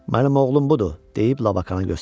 Mənim oğlum budur, deyib Lavaqana göstərdi.